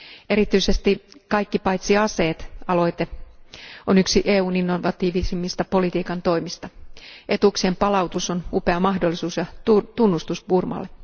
Erityisesti kaikki paitsi aseet aloite on yksi EUn innovatiivisimmista politiikan toimista. Etuuksien palautus on upea mahdollisuus ja tunnustus Burmalle.